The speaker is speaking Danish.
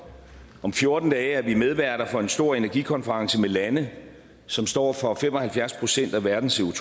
om fjorten dage er vi medværter for en stor energikonference med lande som står for fem og halvfjerds procent af verdens